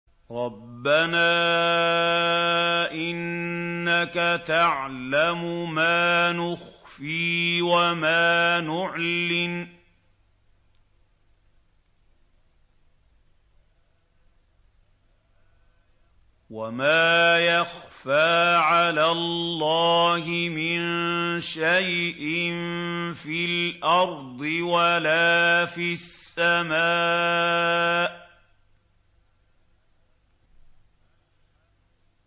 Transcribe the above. رَبَّنَا إِنَّكَ تَعْلَمُ مَا نُخْفِي وَمَا نُعْلِنُ ۗ وَمَا يَخْفَىٰ عَلَى اللَّهِ مِن شَيْءٍ فِي الْأَرْضِ وَلَا فِي السَّمَاءِ